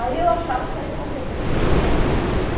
Aí eu achava que era incompetência da funcionária.